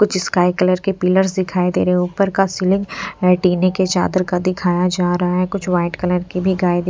कुछ sky colour के pillars दिखाई दे रहे हैं ऊपर का सीलिंग टीने के चादर का दिखाया जा रहा है कुछ व्हाइट कलर की भी गाय दि --